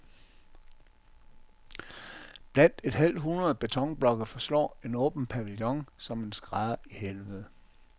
Blandt et halvt hundrede betonblokke forslår en åben pavillon som en skrædder i helvede.